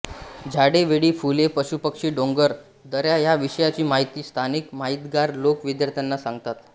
झाडे वेळी फुले पशुपक्षी डोंगर दऱ्या या विषयाची माहिती स्थानिक माहितगार लोक विद्यार्थ्यांना सांगतात